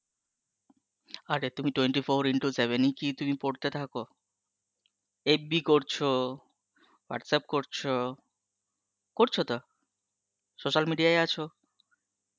আরে তুমি twenty into seven ই কি তুমি পড়তে থাকো? fb করছো, whatsapp করছো, করছো তো? social media এ আছো?